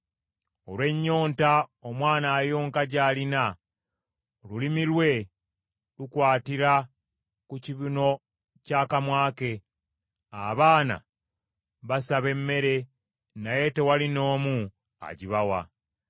Olw’ennyonta omwana ayonka gy’alina, olulimi lwe lukwatira ku kibuno ky’akamwa ke; abaana basaba emmere naye tewali n’omu agibawa.